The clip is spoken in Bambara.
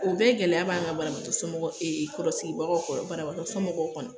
O bɛɛ gɛlɛya b'an kan banabatɔ somɔgɔw ee kɔrɔ sigibagaw kɔrɔ banabatɔ somɔgɔw kɔnɔ.